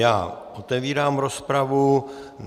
Já otevírám rozpravu.